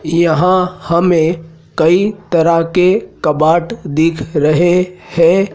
यहां हमें कई तरह के कबाड दिख रहे हैं।